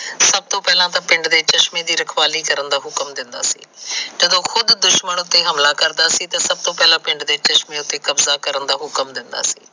ਸੱਭ ਤੋਂ ਪਹਿਲਾ ਤਾਂ ਪਿੰਡ ਦੇ ਚਸ਼ਮੇ ਦੀ ਰਖਵਾਲੀ ਕਰਨ ਦਾ ਹੁਕਮ ਦਿੰਦਾ ਸੀ ਜਦੋ ਖੁਦ ਦੁਸ਼ਮਣ ਉਤੇ ਹਮਲਾ ਕਰਦਾ ਸੀ ਤਾ ਸੱਭ ਤੋਂ ਪਹਿਲਾ ਪਿੰਡ ਦੇ ਚਸ਼ਮੇ ਉਤੇ ਹਮਲਾ ਕਰਨ ਦਾ ਹੁਕਣ ਦਿੰਦਾ ਹੁੰਦਾ ਸੀ